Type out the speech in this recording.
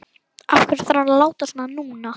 Af hverju þarf hann að láta svona núna?